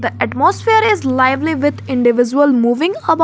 atmosphere is lively with individual moving about.